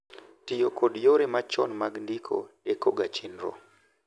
Tiyo kod yore machon mag ndiko deko ga chenro